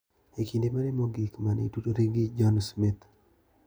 En kinde mane mogik mane itudori gi John Smith/